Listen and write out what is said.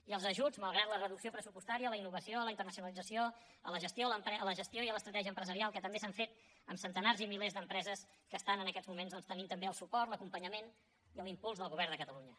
i els ajuts malgrat la reducció pressupostària a la innovació a la internacionalització a la gestió i a l’estratègia empresarial que també s’han fet amb centenars i milers d’empreses que estan en aquests moments tenint el suport l’acompanyament i l’impuls del govern de catalunya